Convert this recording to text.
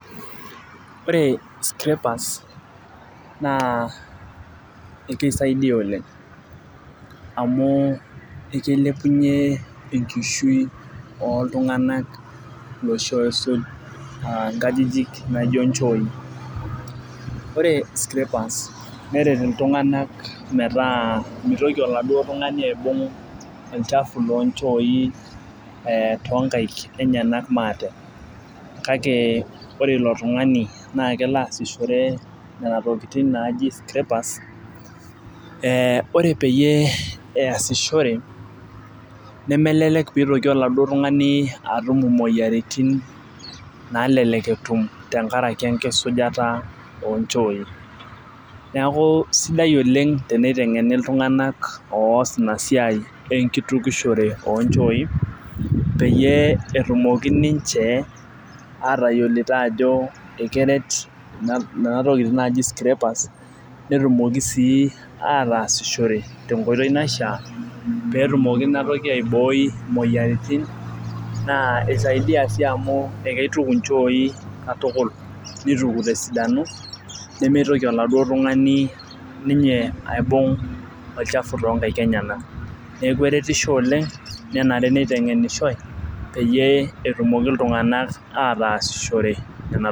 Ore scrappers naa ekisaidia oleng, amu ikilepunye enkishui oltunganak iloshi ooisuj inkajijik naijo nchooyi. ore scrappers neret iltunganak metaa mitoki oladuoo tungani aibung' olchafu loochooi, ee too nkaik enyenak maate. kake ore ilo tungani naa kelo aasishore Nena tokitin naji scrappers ee ore peyie neesishore, nemelelek pee itoki oladuoo tungani atum imoyiaritin naalelek etum tenkaraki tenkisujata oo nchooi. neeku sidai Oleng tenitengeni iltunganak oos Ina siai enkitukushore oo nchooi peyie etumoki ninche aatayiolito ajo ekeret Nena tokitin naji scrappers netumoki sii ataasishore tenkoitoi naishaa pee etumoki Ina toki aibooi imoyiaritin naa isaidia sii amu ituku inchooi katukul. nituku te sidano. nimitoki oladuoo tungani ninye aibung' olchafu too nkaik i enyenak. neeku eretisho oleng menare neitengenishoi, peyie etumoki iltunganak ataasishore Nena tokitin.